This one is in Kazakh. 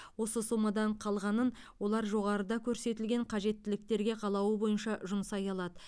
осы сомадан қалғанын олар жоғарыда көрсетілген қажеттіліктерге қалауы бойынша жұмсай алады